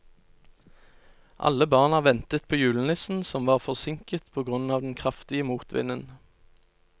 Alle barna ventet på julenissen, som var forsinket på grunn av den kraftige motvinden.